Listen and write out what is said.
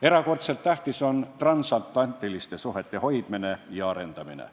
Erakordselt tähtis on transatlantiliste suhete hoidmine ja arendamine.